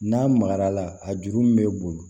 N'a magara a la a juru min bɛ boli